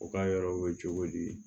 U ka yɔrɔ bɛ cogo di